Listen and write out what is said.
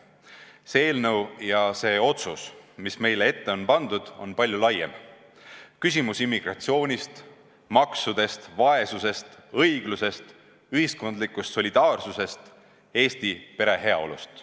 See eelnõu ja see otsus, mis meie ette on pandud, on palju laiem: see on küsimus immigratsioonist, maksudest, vaesusest, õiglusest, ühiskondlikust solidaarsusest, Eesti perede heaolust.